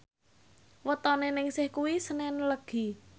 wetone Ningsih kuwi senen Legi